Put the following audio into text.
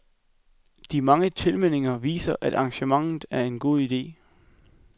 De mange tilmeldinger viser, at arrangementet er en god ide.